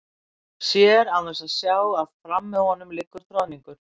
Sér án þess að sjá að fram með honum liggur troðningur.